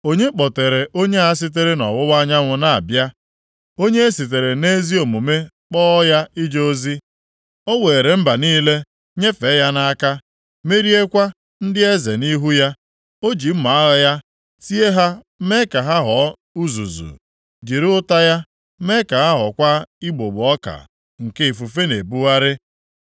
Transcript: “Onye kpọtere onye a sitere nʼọwụwa anyanwụ na-abịa, onye e sitere nʼezi omume kpọọ ya ije ozi? O weere mba niile nyefee ya nʼaka, meriekwa ndị eze nʼihu ya. O ji mma agha ya tie ha mee ka ha ghọọ uzuzu, jiri ụta ya mee ka ha ghọọkwa igbugbo ọka nke ifufe na-ebugharị.